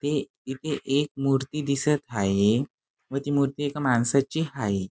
ते इथे एक मूर्ती दिसत हाये व ती मूर्ती एका माणसाची हाये.